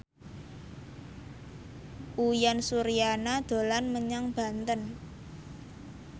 Uyan Suryana dolan menyang Banten